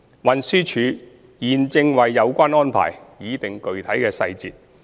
運輸署現正為有關安排擬定具體細節。